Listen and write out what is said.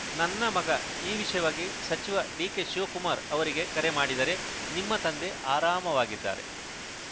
ನನ್ನ ಮಗ ಈ ವಿಷಯವಾಗಿ ಸಚಿವ ಡಿಕೆ ಶಿವಕುಮಾರ್‌ ಅವರಿಗೆ ಕರೆ ಮಾಡಿದರೆ ನಿಮ್ಮ ತಂದೆ ಆರಾಮವಾಗಿದ್ದಾರೆ